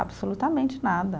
Absolutamente nada.